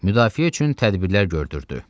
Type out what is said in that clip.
Müdafiə üçün tədbirlər gördürdü.